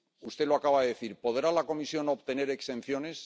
Usted lo acaba de decir ¿Podrá la Comisión obtener exenciones?